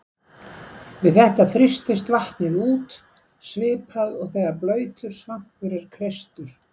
Við þetta þrýstist vatnið út svipað og þegar blautur svampur er kreistur.